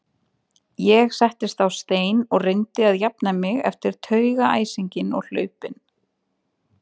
Ég settist á stein og reyndi að jafna mig eftir taugaæsinginn og hlaupin.